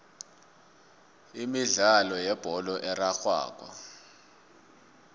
imidlalo yebholo erarhwako